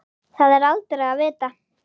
Það er aldrei að vita?